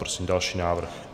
Prosím další návrh.